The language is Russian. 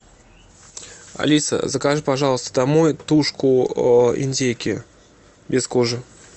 алиса закажи пожалуйста домой тушку индейки без кожи